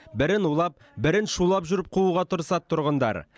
бірін улап бірін шулап жүріп қууға тырысады тұрғындар